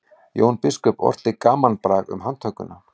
jón biskup orti gamanbrag um handtökuna